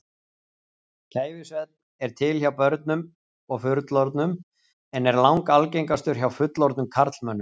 Kæfisvefn er til hjá börnum og fullorðnum en er langalgengastur hjá fullorðnum karlmönnum.